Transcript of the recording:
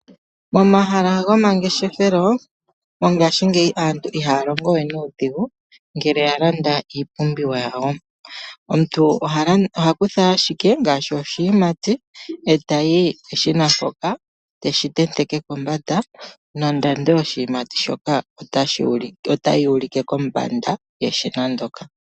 Momahala gomangeshefelo mongashingeyi aantu ihaya longo we nuudhigu ngele ya landa iipumbiwa yawo. Omuntu oha kutha ashike ngaashi oshiyimati eta yi peshina mpoka eteshi tenteke kombanda nondando yoshiyimati shoka otayi ulike kombanda yeshina ndoka.